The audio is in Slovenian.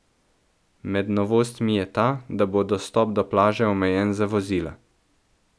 Med novostmi je ta, da bo dostop do plaže omejen za vozila.